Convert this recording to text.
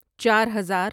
چار ہزار